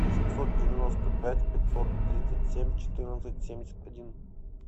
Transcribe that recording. семьсот девяносто пять пятьсот тридцать семь четырнадцать семьдесят один